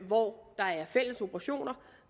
hvor der er fælles operationer og